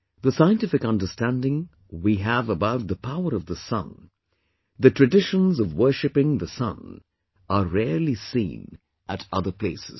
The scientific understanding we have about the power of the Sun, the traditions of worshiping the Sun, are rarely seen at other places